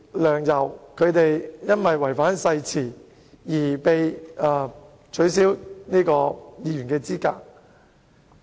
梁、游二人由於違反誓言，因而被取消議員資格。